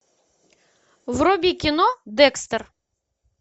вруби кино декстер